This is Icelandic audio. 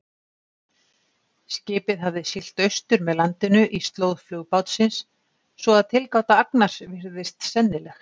Skipið hafði siglt austur með landinu í slóð flugbátsins, svo að tilgáta Agnars virðist sennileg.